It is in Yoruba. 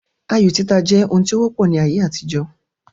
Ayo títa jẹ́ ohun tí ó wọ́pọ̀ ní ayé àtijọ́